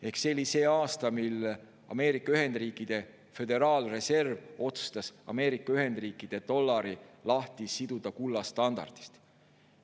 Ehk see oli see aasta, mil Ameerika Ühendriikide Föderaalreserv otsustas Ameerika Ühendriikide dollari lahti siduda kullastandardist.